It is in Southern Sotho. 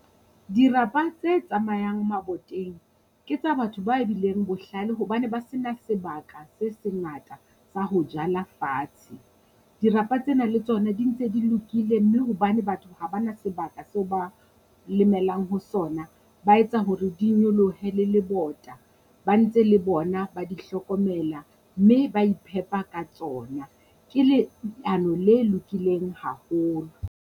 Dirapa tse tsamayang maboteng ke tsa batho ba bileng bohlale hobane ba se na sebaka se se ngata sa ho jala fatshe. Dirapa tsena le tsona di ntse di lokile mme hobane batho ha bana sebaka seo ba lemelang ho sona, ba etsa hore di nyolohe le lebota, ba ntse le bona ba di hlokomela mme ba iphepa ka tsona ke le leano le lokileng haholo.